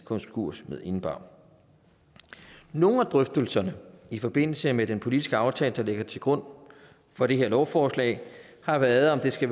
konkurs indebar nogle af drøftelserne i forbindelse med den politiske aftale der ligger til grund for det her lovforslag har været om det skal